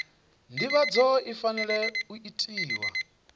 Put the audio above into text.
nḓivhadzo i fanela u itiwa